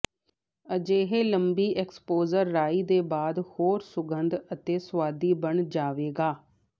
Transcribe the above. ਅਜਿਹੇ ਲੰਬੀ ਐਕਸਪੋਜਰ ਰਾਈ ਦੇ ਬਾਅਦ ਹੋਰ ਸੁਗੰਧ ਅਤੇ ਸੁਆਦੀ ਬਣ ਜਾਵੇਗਾ